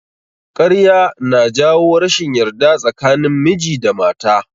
Ƙarya ya na jawo rashin yarda tsakanin miji da mata